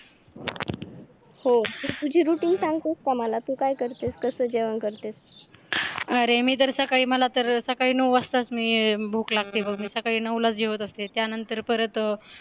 हो तुझी रुटीन सांगतेस का मला तू काय करतेस कसं जेवण करतेस? अरे मी तर सकाळी मला तर सकाळी नऊ वाजताच मी भूक लागते सकाळी नऊला जेवत असते त्यानंतर परत